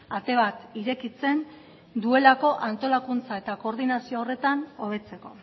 ate bat irekitzen duelako antolakuntza eta koordinazio horretan hobetzeko